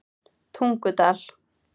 Tungudal